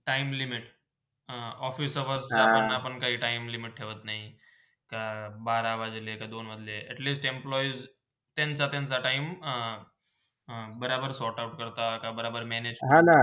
अं office चा work करताना काही time limit ठेवत नाय के बारा वाजले कि दोन वाजले atlesast employees त्यांचा -त्यांचा time अं बराबर sortout करता आता बराबर manage करता.